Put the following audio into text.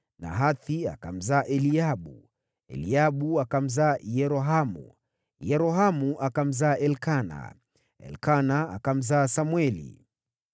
Nahathi akamzaa Eliabu, Eliabu akamzaa Yerohamu, Yerohamu akamzaa Elikana, Elikana akamzaa Samweli.